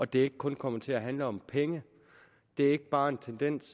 det ikke kun kommer til at handle om penge det er ikke bare en tendens